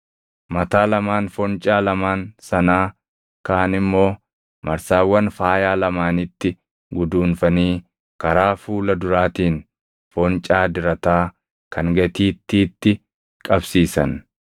Mataa lamaan foncaa lamaan sanaa kaan immoo marsaawwan faayaa lamaanitti guduunfanii karaa fuula duraatiin foncaa dirataa kan gatiittiitti qabsiisan.